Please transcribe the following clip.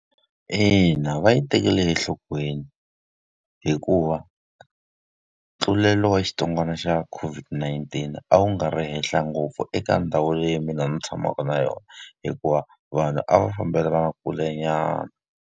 Ina va yi tekele enhlokweni, hikuva ntlulelo wa xitsongwana xa COVID-19 a wu nga ri henhla ngopfu eka ndhawu leyi mina ni tshamaka na yona. Hikuva vanhu a va fambelana kulenyana.